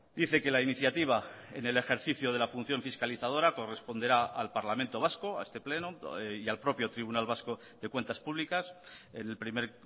dice que la iniciativa en el ejercicio de la función fiscalizadora corresponderá al parlamento vasco a este pleno y al propio tribunal vasco de cuentas públicas el primer